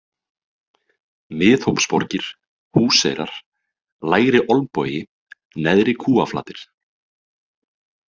Miðhópsborgir, Húseyrar, Lægri-Olnbogi, Neðri-Kúaflatir